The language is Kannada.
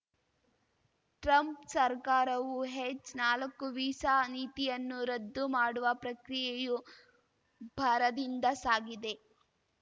ಟ್ರಂಪ್‌ ಸರ್ಕಾರವು ಹೆಚ್‌ನಾಲಕ್ಕು ವೀಸಾ ನೀತಿಯನ್ನು ರದ್ದು ಮಾಡುವ ಪ್ರಕ್ರಿಯೆಯು ಭರದಿಂದ ಸಾಗಿದೆ